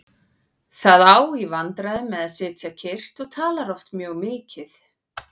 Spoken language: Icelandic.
Það á í vandræðum með að sitja kyrrt og talar oft mjög mikið.